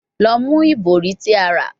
Lọ mu ibori ti a ra